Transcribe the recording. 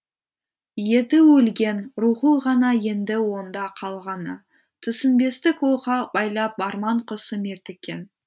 еті өлген рухы ғана енді онда қалғаны түсінбестік оққа байлап арман құсы мертіккен